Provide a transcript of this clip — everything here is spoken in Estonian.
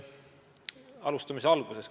Alustame siis algusest.